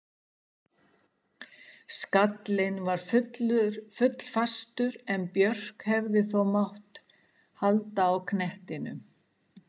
Skallinn var full fastur en Björk hefði þó mögulega átt að halda knettinum.